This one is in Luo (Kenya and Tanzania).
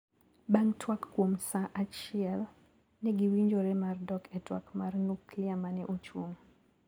Bang` twak kuom saa achiekl negiwinjore mar dok e twak mar nuklia mane ochung`.